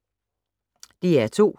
DR2